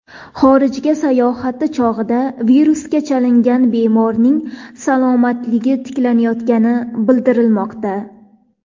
Xorijga sayohati chog‘ida virusga chalingan bemorning salomatligi tiklanayotgani bildirilmoqda.